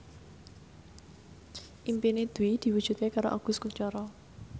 impine Dwi diwujudke karo Agus Kuncoro